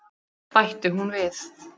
bætti hún við.